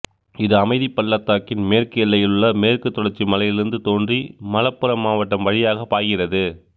இது அமைதி பள்ளத்தாக்கின் மேற்கு எல்லையில் உள்ள மேற்குத் தொடர்ச்சி மலையிலிருந்து தோன்றி மலப்புறம் மாவட்டம் வழியாகப் பாய்கிறது